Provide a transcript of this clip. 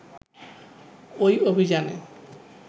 ওই অভিযানে